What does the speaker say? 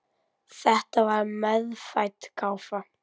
Þetta var meðfædd gáfa.